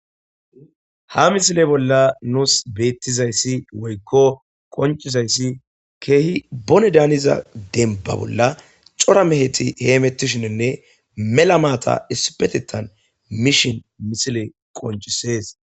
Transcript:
Ha misile bolla nuus beettizayssi woykko qoncizayssi keehi bone daaniza denba bolla cora meheti heemettishininne mela maata issipetetan mishin misile qoncisees.